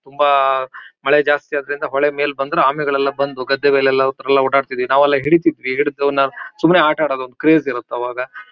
ತುಂಬಾ ಮೇಲೆ ಜಾಸ್ತಿ ಅದರಿಂದ ಹೊಳೆ ಮೇಲ್ ಬಂದ್ರು ಆಮೆಗಳೆಲ್ಲ ಬಂದು ಗದ್ದೆ ಮೇಲ್ಲೆಲ್ಲ ಒಂಥರಾ ಓಡಾಡ್ತಿದ್ವು ನಾವೆಲ್ಲ ಹಿಡಿತಿದ್ವಿ ಹಿಡಿದು ನಾವ್ ಸುಮ್ನೆ ಆಟ ಆಡೋದು ಒಂದ್ ಕ್ರೆಜ್ ಇರುತ್ ಅವಾಗ.